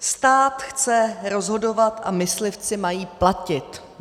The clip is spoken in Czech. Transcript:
"Stát chce rozhodovat a myslivci mají platit." -